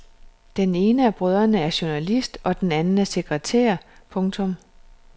Den ene af brødrene er journalist og den anden er sekretær. punktum